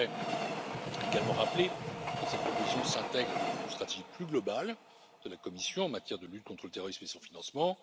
J'aimerais également rappeler que cette proposition s'intègre dans une stratégie plus globale de la Commission en matière de lutte contre le terrorisme et son financement.